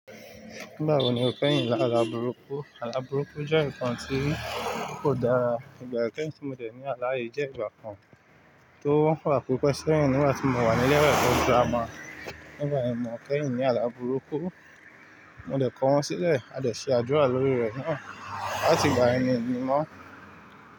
Nígbà wo ni o kẹ́yìn lála burúkú? Àlá burúkú jẹ́ ǹkan tí kò dára, ìgbà kẹ́hìn tí mo dẹ̀ ní àlá yìí jẹ́ ìgbà kan tó wà pipe sẹ́hìn nígbà tí mo wà ní ilé ẹ̀kọ́ grammar. Nígba yen ni mo kẹ́yìn ní àlá burúkú, mo dẹ̀ kọ wọ́n sílẹ̀, a dẹ̀ ṣe àdúrà lórí rẹ̀ náà láti gbà yẹn mi ni mọ̀.